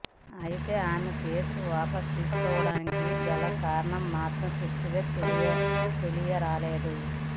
అయితే ఆమె కేసు వాపస్ తీసుకోవడానికి గల కారణాలు మాత్రం స్పష్టంగా తెలియరాలేదు